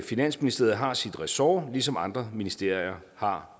finansministeriet har sit ressort ligesom andre ministerier har